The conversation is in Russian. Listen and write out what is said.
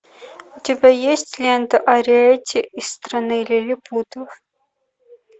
у тебя есть лента ариэтти из страны лилипутов